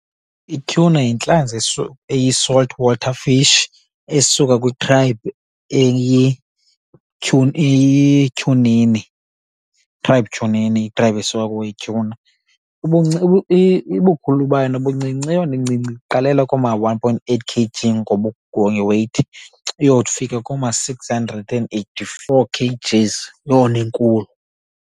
Ityhuna yintlanzi eyi-salt water fish esuka kwikhraybhu eyityhunini. Yikhraybhu tyhunini, ikhraybhu esuka kuyo ityhuna. Ubukhulu bayo nobuncinci eyona incinci iqalela kooma-one point eight K_G ngeyithi iyofika kooma-six hundred and eighty-four K_Gs eyona inkulu.